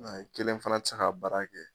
Nga i kelen fana te se k'a baara kɛ